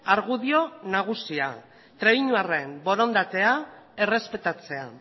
argudio nagusia trebiñuarren borondatea errespetatzea